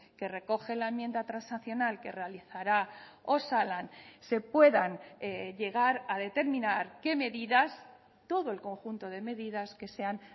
que recoge la enmienda transaccional que realizará osalan se puedan llegar a determinar qué medidas todo el conjunto de medidas que sean